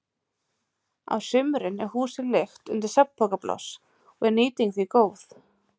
Á sumrin er húsið leigt undir svefnpokapláss og er nýting því góð.